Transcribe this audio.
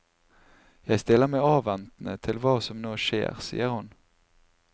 Jeg stiller meg avventende til hva som nå skjer, sier hun.